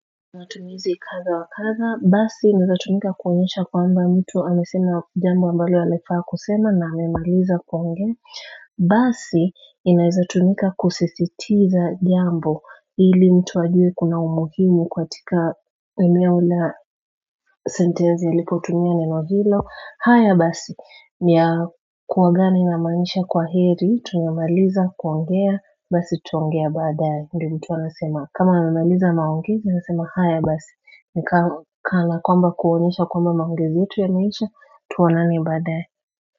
Matumizi kadha wa kadha, basi inawezatumika kuonyesha kwamba mtu amesena jambo ambalo alifaa kusema na amemaliza kuongea basi inawezatumika kusisitiza jambo ili mtu ajue kuna umuhimu katika eneo la sentesi ilipo tumia neno hilo. Haya basi, ni ya kuagana inamaanisha kwa heri, tumemaliza kuongea, basi tutaongea baadaye. Ndiyo mtu anasema, kama amemaliza maongezi, anasema haya basi, ni kana kwamba kuonyesha kwamba maongezi yetu yameisha, tuonane baadaye.